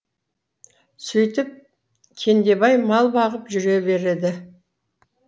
сөйтіп кендебай мал бағып жүре береді